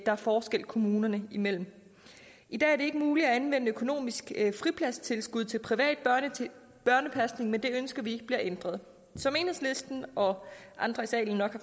er forskel kommunerne imellem i dag er det ikke muligt at anvende økonomisk fripladstilskud til privat børnepasning men det ønsker vi bliver ændret som enhedslisten og andre i salen nok